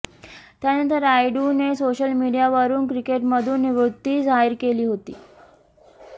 त्यानंतर रायडूने सोशल मीडियावरून क्रिकेटमधून निवृत्ती जाहीर केली होती